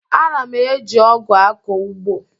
Ana m eji ọgụ akọ ugbo